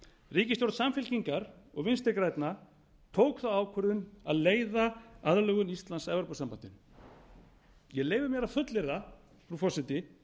ríkisstjórn samfylkingar og vinstri grænna tók þá ákvörðun að leiða aðlögun íslands að evrópusambandinu ég leyfi mér að fullyrða frú forseti